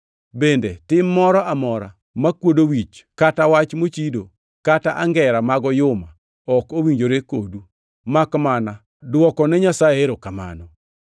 Bende, tim moro amora makwodo wich, kata wach mochido, kata angera mag oyuma ok owinjore kodu, makmana dwoko ne Nyasaye erokamano.